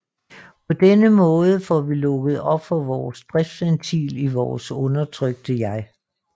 På den måde får vi lukket op for vores driftsventil i vores undertrykte jeg